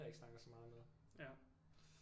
Jeg ikke snakker så meget med